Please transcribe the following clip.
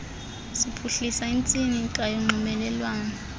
siphuhlisa intsika yonxibelelwano